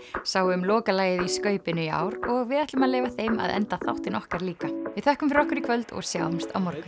sáu um lokalagið í skaupinu í ár og við ætlum að leyfa þeim að enda þáttinn okkar líka við þökkum fyrir okkur í kvöld og sjáumst á morgun